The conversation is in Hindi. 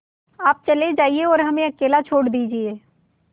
आप चले जाइए और हमें अकेला छोड़ दीजिए